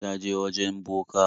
Ta je wajen boka.